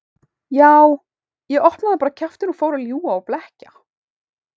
Já, ég opnaði bara kjaftinn og fór að ljúga og blekkja.